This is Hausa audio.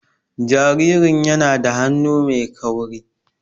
Jaririn yana da hannu mai kauri.